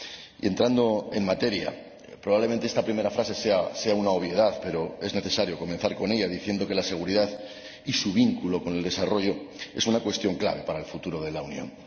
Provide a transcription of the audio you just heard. Y, entrando en materia, probablemente esta primera frase sea una obviedad, pero es necesario comenzar diciendo que la seguridad y su vínculo con el desarrollo son una cuestión clave para el futuro de la Unión.